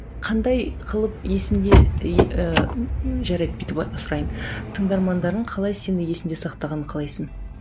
қандай қылып есіңде и ііі жарайды бүйтіп сұрайын тыңдармандарың қалай сені есіңде сақтағанын қалайсың